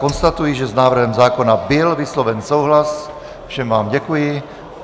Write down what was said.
Konstatuji, že s návrhem zákona byl vysloven souhlas, všem vám děkuji.